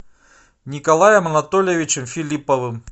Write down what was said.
николаем анатольевичем филипповым